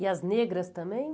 E as negras também?